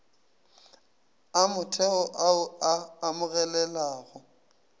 a motheo ao a amogelegago